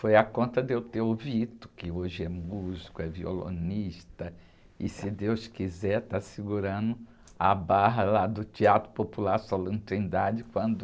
Foi a conta de eu ter o, que hoje é músico, é violonista, e se Deus quiser está segurando a barra lá do Teatro Popular Solano Trindade quando...